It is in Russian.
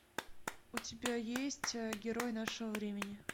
у тебя есть герой нашего времени